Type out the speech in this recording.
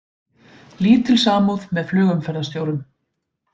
Lítil samúð með flugumferðarstjórum